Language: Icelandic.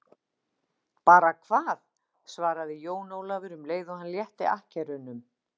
Bara hvað, svaraði Jón Ólafur um leið og hann létti akkerunum.